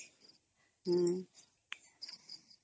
noise